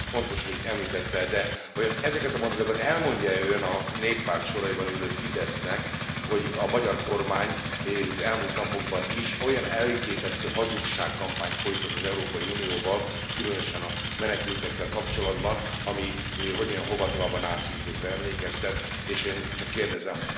Ezt fontos, hogy említette, de vajon ezeket a mondatokat elmondja e Ön a Néppárt soraiban ülő Fidesznek, hogy a magyar kormány az elmúlt napokban is olyan elképesztő hazugságkampányt folytat az Európai Unióval, különösen a menekültekkel kapcsolatban, ami, hogy mondjam, hova tovább a náci időkre emlékeztet, és én csak kérdezem